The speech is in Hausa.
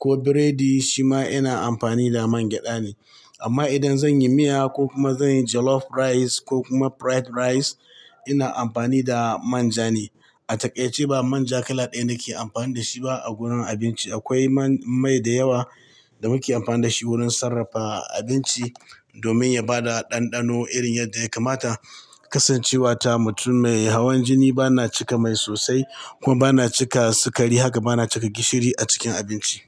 ko biredi shi ma ina amfani da man gyada ne. Amma idan zan yi miya ko kuma zan yi jollof rice ko kuma fried rice ina amfani da manja ne. A takaice ba manja kala ɗaya nake amfani da shi ba a wurin abinci. Akwai man-- mai da yawa da muke amfani da shi wurin sarrafa abinci domin ya bada ɗanɗano irin yadda ya kamata. Kasancewata mutum mai hawan jini bana cika mai sosai kuma bana cika sukari haka bana cika gishiri a cikin abinci.